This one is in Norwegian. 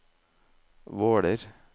Våler